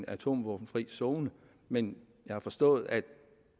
atomvåbenfri zone men jeg har forstået at